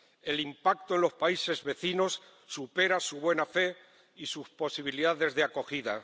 El impacto en los países vecinos supera su buena fe y sus posibilidades de acogida.